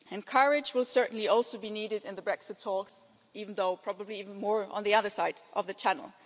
Courage will certainly also be needed in the Brexit talks, even though probably even more on the other side of the Channel.